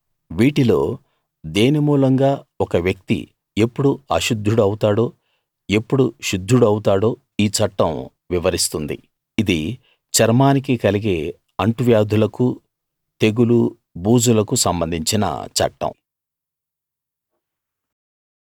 వీటిలో దేని మూలంగా ఒక వ్యక్తి ఎప్పుడు అశుద్ధుడు అవుతాడో ఎప్పుడు శుద్ధుడు అవుతాడో ఈ చట్టం వివరిస్తుంది ఇది చర్మానికి కలిగే అంటువ్యాధులకూ తెగులూ బూజులకు సంబంధించిన చట్టం